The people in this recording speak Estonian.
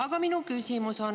Aga minu küsimus.